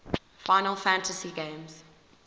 final fantasy games